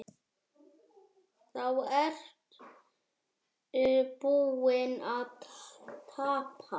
Þá ertu búinn að tapa.